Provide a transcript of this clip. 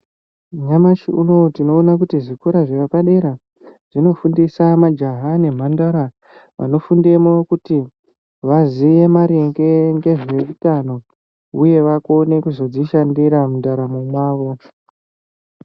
Nyamashi unou tinoona kuti zvikora zvepadera zvinofundisa majaha nemhandara. Vanofundemo kuti vaziye maringe ngezveutano, uye vakone kuzodzishandira mundaramo mwavo.